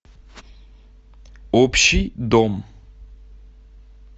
общий дом